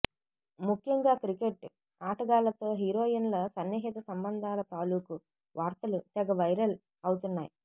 ముఖ్యంగా క్రికెట్ ఆటగాళ్లతో హీరోయిన్ల సన్నిహిత సంబంధాల తాలూకు వార్తలు తెగ వైరల్ అవుతున్నాయి